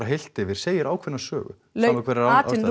heilt yfir segir ákveðna sögu